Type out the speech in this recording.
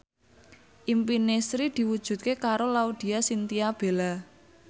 impine Sri diwujudke karo Laudya Chintya Bella